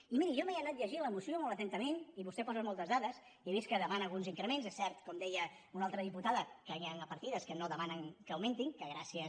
i miri jo m’he anat llegint la moció molt atentament i vostè hi posa moltes dades i he vist que demana alguns increments és cert com deia una altra diputada que hi han partides que no demanen que augmentin que gràcies